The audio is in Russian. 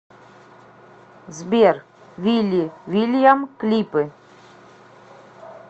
сбер вилли вильям клипы